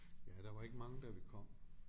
Ja der var ikke mange da vi kom